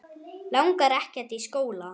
Langar ekkert í skóla.